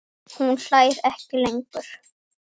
Hún hlær ekki lengur.